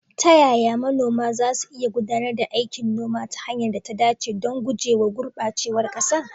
Ta yaya manoma za su iya gudanar da aikin noma ta hanyar da ta dace don guje wa gurɓacewar ƙasa?